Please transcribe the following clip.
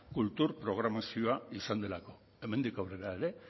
kultur programazio izan delako hemendik aurrera ere